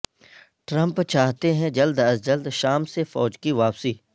Trump چاہتے ہیں جلد از جلد شام سے فوج کی واپسی